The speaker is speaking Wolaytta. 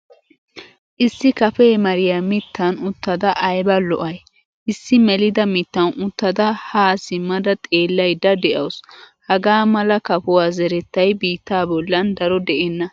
Issi kafe mariyaa mittan uttada ayba lo'ay? Issi melida mittan uttada ha simmada xeelayda de'awusu. Hagaa mala kafuwa zerettay biittaa bollan daro de'ena.